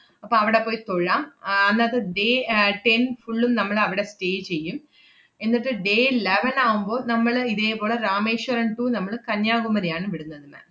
അപ്പ അവടെ പോയി തൊഴാം ആഹ് അന്നത്തെ day ആഹ് ten full ഉം നമ്മളവടെ stay ചെയ്യും. എന്നട്ട് day eleven ആവുമ്പൊ നമ്മള് ഇതേപോലെ രാമേശ്വരം to നമ്മള് കന്യാകുമരിയാണ് വിടുന്നത് ma'am.